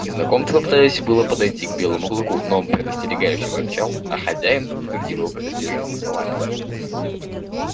незнакомцы попытались было подойти к белому клыку но он предостерегающе зарычал а хозяин подтвердил его предостережение словами